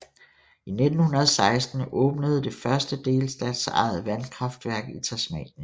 I 1916 åbnede det første delstatsejede vandkraftværk i Tasmanien